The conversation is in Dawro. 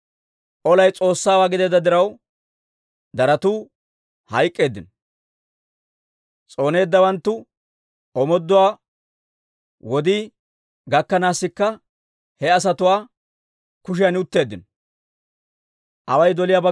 Olay S'oossaawaa gideedda diraw, daratu hayk'k'eeddino. S'ooneeddawanttu omooduwaa wodii gakkanaasikka he asatuwaa kotan utteeddino.